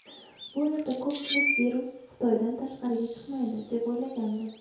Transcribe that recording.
Bu yerda ko‘pchilik virus Xitoydan tashqariga chiqmaydi deb o‘ylagandi.